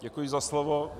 Děkuji za slovo.